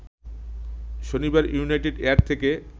শনিবার United Air থেকে